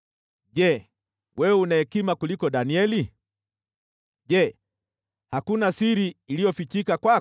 Je, wewe una hekima kuliko Danieli? Je, hakuna siri iliyofichika kwako?